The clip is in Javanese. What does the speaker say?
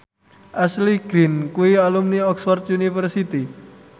Ashley Greene kuwi alumni Oxford university